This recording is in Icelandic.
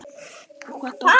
Hvað datt honum í hug?